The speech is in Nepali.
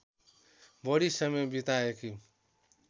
बढी समय बिताएकी